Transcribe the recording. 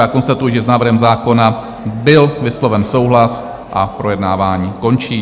Já konstatuji, že s návrhem zákona byl vysloven souhlas, a projednávání končím.